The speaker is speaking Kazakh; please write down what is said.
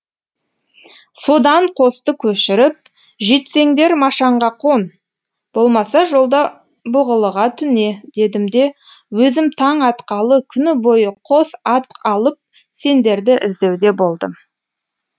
содан қосты көшіріп жетсеңдер машанға қон болмаса жолда бұғылыға түне дедім де өзім таң атқалы күні бойы қос ат алып сендерді іздеуде болдым